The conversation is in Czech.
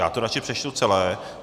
Já to radši přečtu celé.